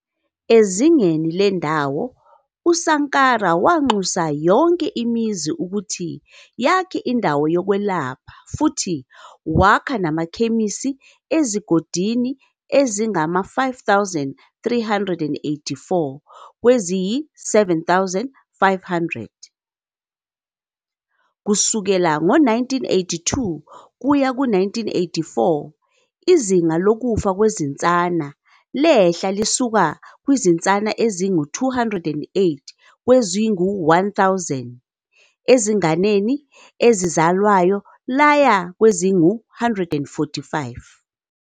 Ezingeni lendawo, uSankara wanxusa yonke imizi ukuthi yakhe indawo yokwelapha futhi wakha namakhemisi ezigodini ezingama-5,384 kweziyi-7 500. Kusukela ngo-1982 kuya ku-1984 izinga lokufa kwezinsana lehla lisuka kwizinsana ezingu -208 kwezingu-1 000 ezinganeni ezizalwayo laya kwazingu-145.